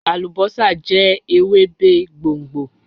Alubosa jẹ Ewebe gbongbo